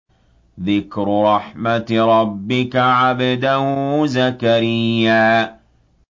ذِكْرُ رَحْمَتِ رَبِّكَ عَبْدَهُ زَكَرِيَّا